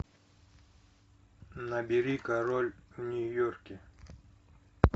набери король в нью йорке